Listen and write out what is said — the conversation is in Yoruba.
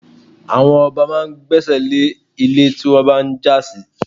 Àwọn ọba máa ń gbésẹ̀ lé ilẹ̀ tí wọ́n bá ń jà sí.